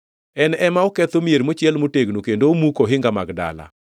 En ema oketho mier mochiel motegno kendo omuko ohinga mag dala.